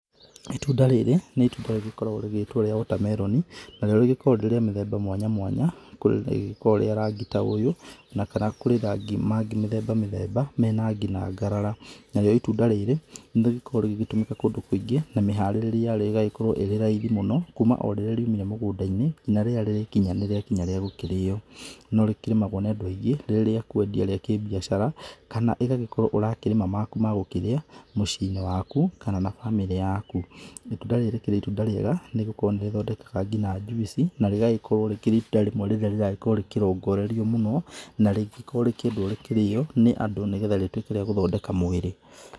Itunda rĩrĩ nĩ itunda rĩgĩtwo rĩa watermeroni na rĩo rĩkoragwo rĩria mĩthemba mwanya mwanya kũrĩ rĩgĩkorwo rĩa rangi ta ũyũ na kana kũrĩ rangi mangĩ mĩthemba mĩthemba mena nginya ngarara, nario itunda rĩrĩ nĩ rĩkoragwo rĩgĩtũmĩka kũndũ kũingĩ na mĩharĩrĩrie yario igagĩkorwo ĩrĩ raithi mũno kũma o rĩria rĩumĩre mũgunda-inĩ nginya rĩria rĩrĩkinya rĩa kinya rĩa gũgĩkĩrio ,no rĩrĩmagwo nĩ andũ aingĩ rĩrĩ rĩa kwendia rĩa kĩmbiacara kana ĩgagĩkorwo ũrakĩrĩma maku magũkĩria mũciĩ-inĩ waku kana na bamĩrĩ yaku. Itunda rĩrĩ rĩkĩrĩ rĩega nĩgũkorwo nĩrĩthondekaga nginya juici na rĩgagĩkorwo rĩkĩrĩ itunda rĩmwe rĩria rĩragĩkorwo rĩkĩrongorerio mũno na rĩgĩkorwo rĩkĩendwo rĩkĩrio nĩ andũ nĩgetha rĩtuike rĩa gũthondeka mwĩrĩ.